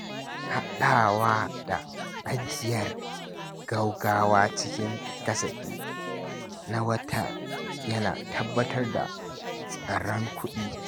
Haɗawa da ajiyar gaugawa cikin kasafi na watan yana tabbatar da tsaron kuɗi.